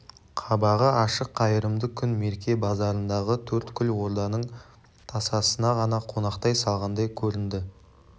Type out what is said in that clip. қабағы ашық қайырымды күн мерке базарындағы төрткүл орданың тасасына ғана қонақтай салғандай көрінді